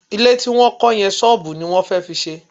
Ilé tí wọ́n kọ́ yẹn, ṣọ́ọ̀bù ni wọ́n fẹ́ fi ṣe